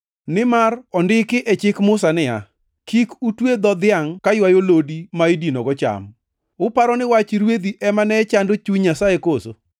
Nimar ondiki e chik Musa niya, “Kik utwe dho dhiangʼ kaywayo lodi ma idinogo cham.” + 9:9 \+xt Rap 25:4\+xt* Uparo ni wach rwedhi ema ne chando chuny Nyasaye koso?